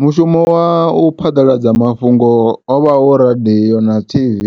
Mushumo wa u phaḓaladza mafhungo ovha hu radiyo na Tv